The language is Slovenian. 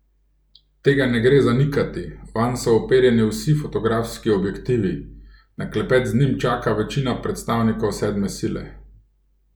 Tega ne gre zanikati, vanj so uperjeni vsi fotografski objektivi, na klepet z njim čaka večina predstavnikov sedme sile.